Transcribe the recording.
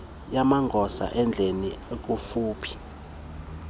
yamagosa endlela ekufuphi